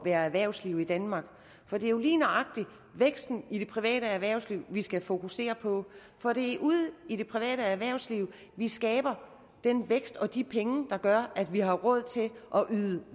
være erhvervsliv i danmark for det er jo lige nøjagtig væksten i det private erhvervsliv vi skal fokusere på for det er ude i det private erhvervsliv vi skaber den vækst og de penge der gør at vi har råd til